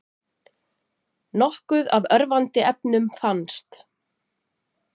Nokkuð af örvandi efnum fannst